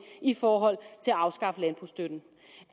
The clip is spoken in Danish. i forhold til at afskaffe landbrugsstøtten